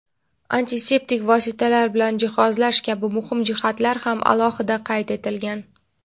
antiseptik vositalar bilan jihozlash kabi muhim jihatlar ham alohida qayd etilgan.